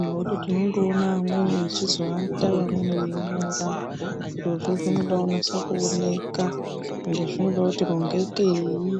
Nekuti tinondoona vamweni veiata vamweni veinyora. Zvirozvo zvinoda kunyasa kuoneka. Ende zvinoda kuti rongekei.